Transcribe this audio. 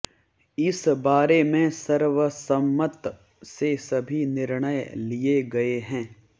इस बारे में सर्वसम्मत से सभी निर्णय लिए गए हैं